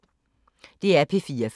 DR P4 Fælles